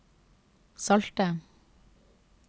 salte